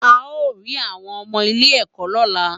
A o ri awọn ọmọ ilé ẹkọ lọla